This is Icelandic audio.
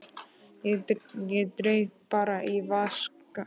Ég dreif bara í að vaska upp.